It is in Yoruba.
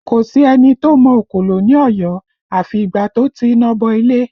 Kò sí ẹni tó mọ òkòlò ní Ọ̀yọ́ afi ìgbà tó ti iná bọ ilé